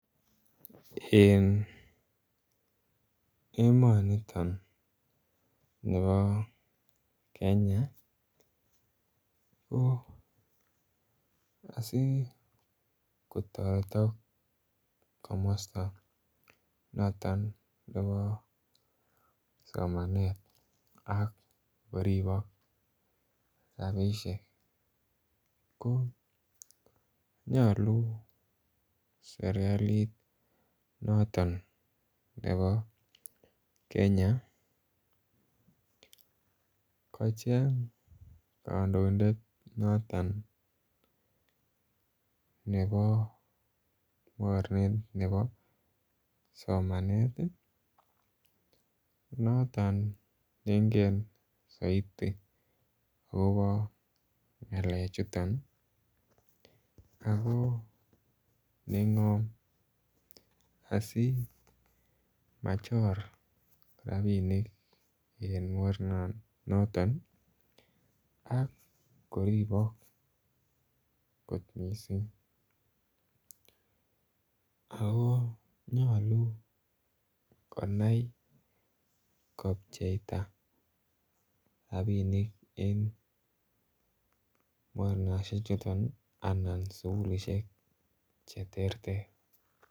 En emoniton nibo Kenya ko asikotoretok komosto noton nebo somanet ak koribok rabishek konyolu sirkalit noton nebo Kenya kocheng kondoidet noton nebo moronet nebo somanet tii noton nengen soiti akobo ngalek chuton Ako nengom asimachor rabinik en moronon noton ak koribok kot missing, Ako nyolu konai kopcheita rabinik en moronoshek chuton anan sukulishek cheterter.